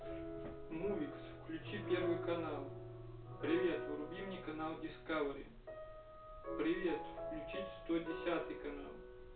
мувит включи первый канал привет вруби мне канал дискавери привет включить сто десятый канал